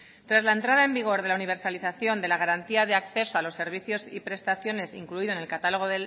tras la entrada en vigor de la universalización de la garantía de acceso a los servicios y prestaciones incluido en el catálogo